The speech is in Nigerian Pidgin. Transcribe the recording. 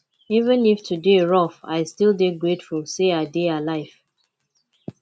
even if today rough i still dey grateful say i dey alive